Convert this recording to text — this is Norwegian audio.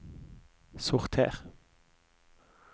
sorter